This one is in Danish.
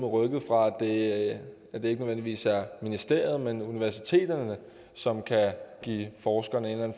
rykket fra at det ikke nødvendigvis er ministeriet men universiteterne som kan give forskerne en eller